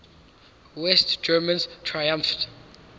west germans triumphed